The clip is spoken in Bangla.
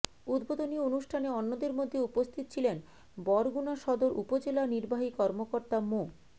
উদ্বোধনী অনুষ্ঠানে অন্যদের মধ্যে উপস্থিত ছিলেন বরগুনা সদর উপজেলা নির্বাহী কর্মকর্তা মো